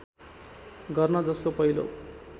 गर्न जसको पहिलो